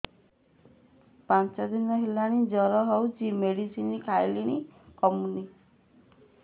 ପାଞ୍ଚ ଦିନ ହେଲାଣି ଜର ହଉଚି ମେଡିସିନ ଖାଇଲିଣି କମୁନି